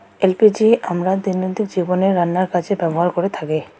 LPG আমরা দৈনন্দিন জীবনে রান্নার কাছে ব্যবহার করে থাকি।